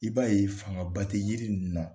I b'a ye fangaba tɛ jiri ninnu na